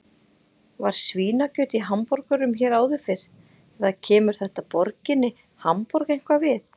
Var svínakjöt í hamborgurum hér áður fyrr eða kemur þetta borginni Hamborg eitthvað við?